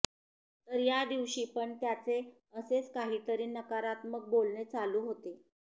तर या दिवशी पण त्याचे असेच काहीतरी नकारात्मक बोलणे चालू होते